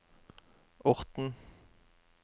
Orten